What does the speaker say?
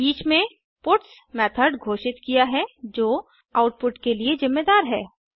each में puts method घोषित किया है जो आउटपुट के लिए जिम्मेदार है